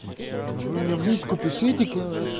вы мне в личку пишите ка